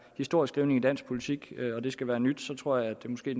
historieskrivning i dansk politik og hvis det skal være nyt tror jeg måske